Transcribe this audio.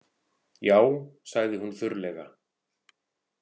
Já, sagði hún þurrlega.